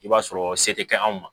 I b'a sɔrɔ se tɛ anw ma